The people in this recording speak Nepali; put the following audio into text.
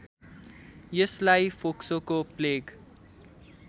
यसलाई फोक्सोको प्लेग